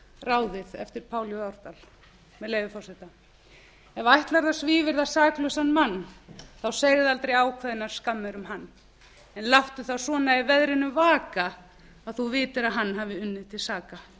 ráðið eftir pál j árdal með leyfi forseta ef ætlarðu að svívirða saklausan mann þá segðu aldrei ákveðnar skammir um hann en láttu það svona í veðrinu vaka að þú vitir að hann hafi unnið til saka